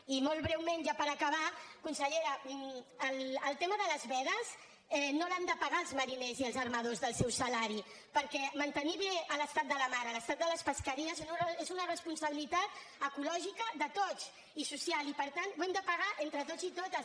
i molt breument ja per acabar consellera el tema de les vedes no l’han de pagar els mariners i els armadors del seu salari perquè mantenir bé l’estat de la mar l’estat de les pesqueries és una responsabilitat ecològica de tots i social i per tant ho hem de pagar entre tots i totes